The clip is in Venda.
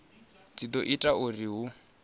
dzi do ita uri hu